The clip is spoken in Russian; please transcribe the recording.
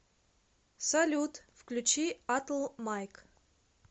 салют включи атл майк